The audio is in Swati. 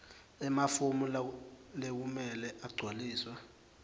emafomu lekumele agcwaliswe